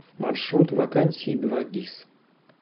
маршрут вакансии двагис